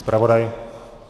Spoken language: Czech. Zpravodaj?